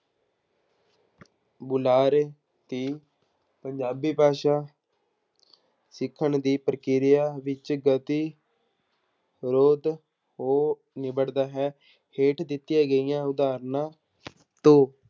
ਬੁਲਾਰੇ ਦੀ ਪੰਜਾਬੀ ਭਾਸ਼ਾ ਸਿੱਖਣ ਦੀ ਪ੍ਰਕਿਰਿਆ ਵਿੱਚ ਗਤੀ ਹੋ ਨਿਬੜਦਾ ਹੈ ਹੇਠ ਦਿੱਤੀਆਂ ਗਈਆਂ ਉਦਾਹਰਨਾਂ ਤੋਂ